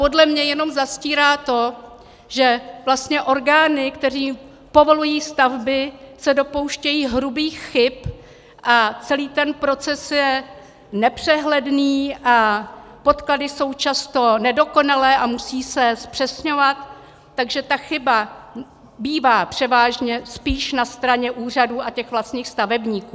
Podle mě jenom zastírá to, že vlastně orgány, které povolují stavby, se dopouštějí hrubých chyb, a celý ten proces je nepřehledný a podklady jsou často nedokonalé a musí se zpřesňovat, takže ta chyba bývá převážně spíš na straně úřadů a těch vlastních stavebníků.